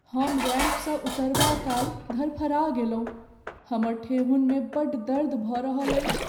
हम रैंपसँ उतरबा काल धरफरा गेलहुँ। हमर ठेहुनमे बड़ दर्द भऽ रहल अछि।